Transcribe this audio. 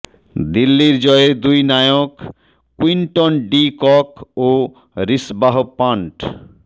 দিল্লির জয়ের দুই নায়ক কুইন্টন ডি কক ও রিশবাহ পান্ট